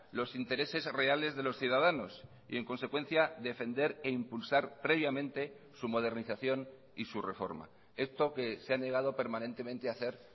los intereses reales de los ciudadanos y en consecuencia defender e impulsar previamente su modernización y su reforma esto que se ha negado permanentemente a hacer